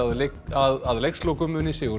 að að leikslokum muni sigur